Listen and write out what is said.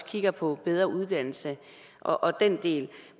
kigge på bedre uddannelse og den del